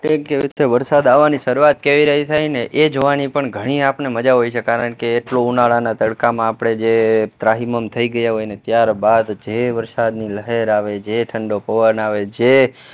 વરસાદ આવવાની શરૂઆત કેવી થઇ ને એ જોવાની પણ ઘણી આપણને મજા હોય છે કારણ કે એટલું ઉનાળામાં તડકામાં આપણે જે ત્રાહિમામ થઇ ગયા હોય ને ત્યારબાદ જે વરસાદની લહેર આવે જે ઠંડો પવન આવે જે